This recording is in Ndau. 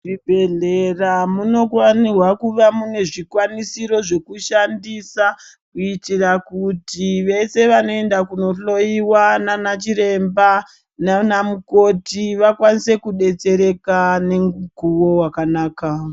Zvibhedhlera munokwanirwa kuva munezvikwanisiro zvekushandisa, kuyitira kuti vese vanoyinda kunohloyiwa nanachiremba, nanamukoti vakwanise kudetsereka nemukuwo wakanaka.